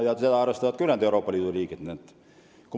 Nendega arvestavad ka ülejäänud Euroopa Liidu riigid.